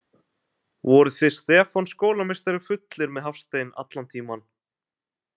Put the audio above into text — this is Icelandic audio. Voruð þið Stefán skólameistari fullir með Hafstein allan tímann?